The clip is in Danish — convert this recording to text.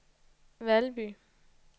Valby